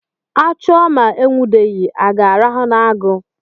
A chụọ ma e nwudeghị, a ga-arahụ n'agu?